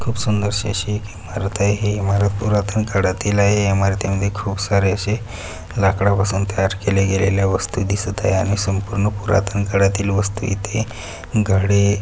खूप सुंदरशी अशी एक इमारत आहे हि इमारत पुरातन काळातील आहे या इमारती मध्ये खूप सारे असे लाकडापासून तयार केल्या गेलेल्या वस्तु दिसत आहे आणि संपूर्ण पुरातन काळातील वस्तु इथे घडे--